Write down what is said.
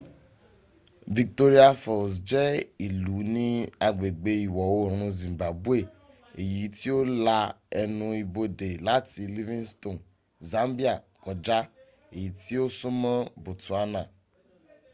victoria falls je ilu ni agbegbe iwo oorun zimbabwe eyi ti o la enu ibode lati livingstone zambia koja eyi ti o sunmo botswana